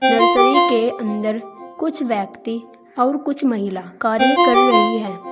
Nursery के अंदर कुछ व्यक्ति और कुछ महिला कार्य कर रही है।